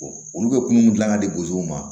olu bɛ kun dilan ka di bozow ma